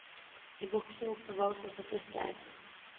I boksen oppbevares også friske egg.